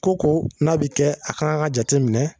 Ko ko n'a bi kɛ a kan ŋa jateminɛ